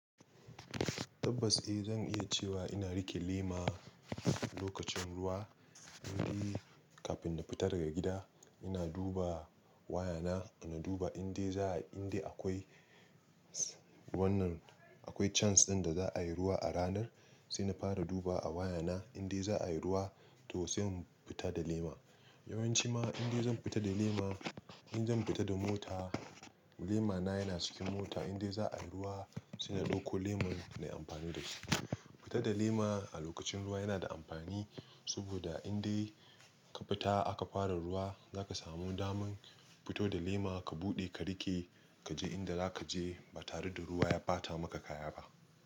Tabbas eh zan iya cewa ina riƙe lema lokacin ruwa, indai kafin na fita daga gida ina duba waya na, ina duba inda za'a, inda akwai wannan, akwai chance ɗin da za'a yi ruwa a ranar sai na fara duba waya na inda za'a yi ruwa to sai mu fita da lema. Yawanci ma inda zan fita da lema, in zan fita da mota lema na yana cikin mota inda za'a yi ruwa sai na ɗauko lemon na yi amfani da shi. Fita da lema a lokacin ruwa yana da amfani saboda indai ka fita aka fara ruwa za ka samu daman fito da lema ka buɗe ka riƙe ka je inda za ka je ba tare da ruwa ya ɓata maka kaya ba.